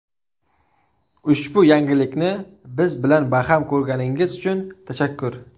Ushbu yangilikni biz bilan baham ko‘rganingiz uchun tashakkur!